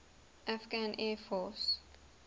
afghan air force